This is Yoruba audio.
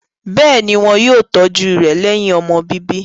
Bẹ́ẹ̀ ni, wọ́n yóò tọ́jú rẹ̀ lẹ́yìn ọmọ bíbí.